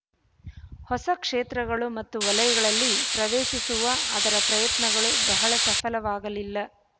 ಹೊಸ ಕ್ಷೇತ್ರಗಳು ಮತ್ತು ವಲಯಗಳಲ್ಲಿ ಪ್ರವೇಶಿಸುವ ಅದರ ಪ್ರಯತ್ನಗಳು ಬಹಳ ಸಫಲವಾಗಲಿಲ್ಲ